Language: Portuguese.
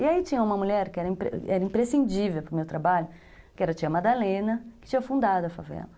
E aí tinha uma mulher que era imprescindível para o meu trabalho, que era a tia Madalena, que tinha fundado a favela.